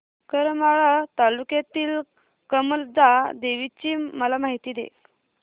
करमाळा तालुक्यातील कमलजा देवीची मला माहिती दे